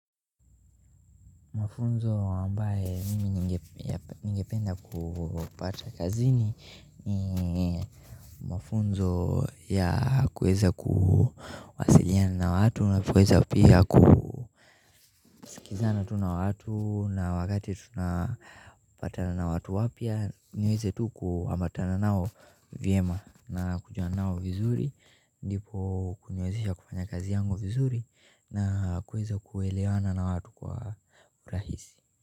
Mafunzo ambaye mimi ningependa kupata kazini ni mafunzo ya kuweza kuwasiliana na watu na kuweza pia ku kizana tu na watu na wakati tunapatana na watu wapya niweze tu kuambatana nao vyema na kujuana nao vizuri ndipo kuniwezesha kufanya kazi yangu vizuri na kuweza kuewewana na watu kwa urahisi.